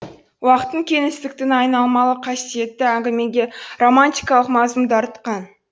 уақыттың кеңістіктің айналмалы қасиеті әңгімеге романтикалық мазмұн дарытқан